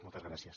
moltes gràcies